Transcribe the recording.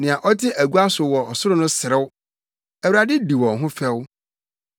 Nea ɔte agua so wɔ ɔsoro no serew; Awurade di wɔn ho fɛw.